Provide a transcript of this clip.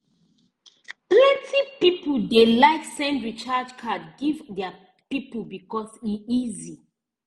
plenty people dey like send recharge card give their people because e easy